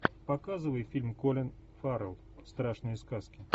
показывай фильм колин фаррелл страшные сказки